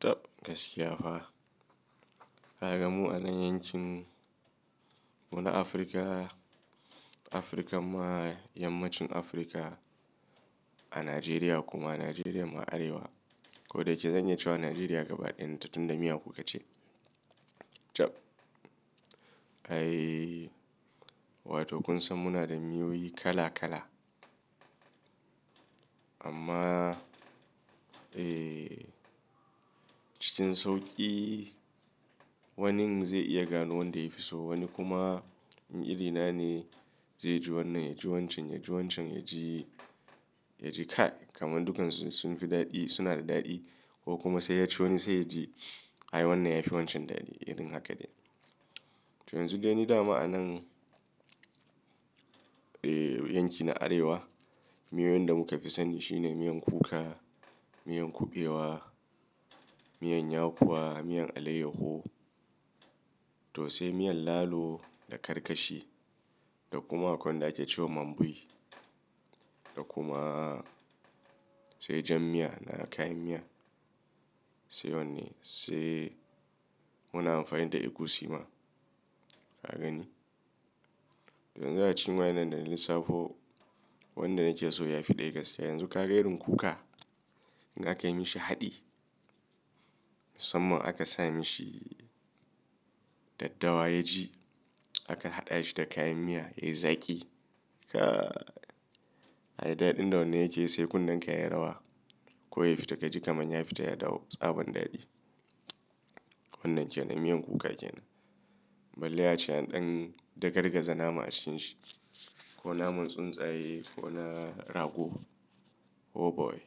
Tab gaskiya fa. Kaga mu anan yankin mu na Afirka, Afirka ma yammacin Afirka a Najeriya kuma Najeriya ma Arewa. Ko da yake zan iya cewa Najeriya gabaɗayan ta tunda miya kuka ce. Tab. Ai, wato kun san muna da miyoyi kala kala. Amma, eh, cikin sauƙi. Wanni zai iya gano wanda yafi so, wanni kuma in iri nane zai ji wannan, ya ji wancan, ya ji wancan, ya ji, ya ji ka. Kaman dukansu sun fi daɗi, suna da daɗi ko kuma sai ya ci wani sai ya ji ai wannan ya fi wancan daɗi. Irin haka ne. To yanzu dai ni da ma'anan, eh, yankin na Arewa, miyoyin da muka fi sani shine miyan kuka, miyan kuɓewa, miyan yakuwa, miyan alayyahu to sai miyan lalo da karkashi da kuma akwai wanda ake cewa mambai. Da kuma sai jan miya da kayan miya. Sai wannan sai muna amfani da egusi ma. Ka gani? To yanzu a cikin waɗannan da na lissafo, wanda na ke so ya fi ɗaya gaskiya. Yanzu ka ga irin kuka, in aka yi mishi haɗi, samman aka sa mishi daddawa ya ji, aka haɗa shi da kayan miya ya yi zaƙi. Ka, ai daɗin da wannan yake yi sai kunnen ka ya yi rawa. Ko ya fita ka ji kamar ya fita ya dawo tsaban daɗi. Wannan ke nan, miyan kuka ke nan. Bale a ce ɗanɗan da gargaza nama ashin shi. Ko naman tsuntsaye ko na rago. Oh boy!